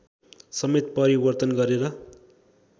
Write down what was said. समेत परिवर्तन गरेर